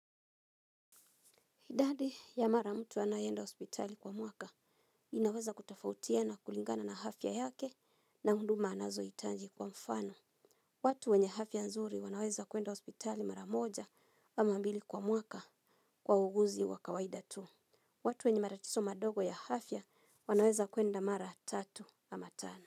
Idadi ya mara mtu anayenda ospitali kwa mwaka inaweza kutafautiana kulingana na hafya yake na hunduma anazo itanji kwa mfano. Watu wenye hafya nzuri wanaweza kuenda ospitali mara moja wa mambili kwa mwaka kwa uguzi wa kawaida tu. Watu wenye matatiso madogo ya hafya wanaweza kuenda mara tatu ama tana.